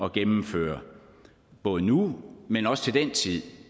at gennemføre både nu men også til den tid